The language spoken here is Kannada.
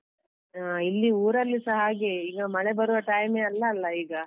ಇಲ್ಲಿ ಊರಲ್ಲೂಸ ಹಾಗೇ ಈಗ ಮಳೆ ಬರುವ time ಯೇ ಅಲ್ಲಲ್ಲ ಈಗ